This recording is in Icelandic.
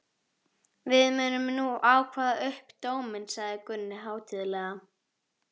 Við munum nú kveða upp dóminn, sagði Gunni hátíðlega.